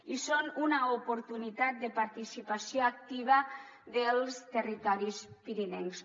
i són una oportunitat de participació activa dels territoris pirinencs